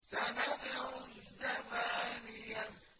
سَنَدْعُ الزَّبَانِيَةَ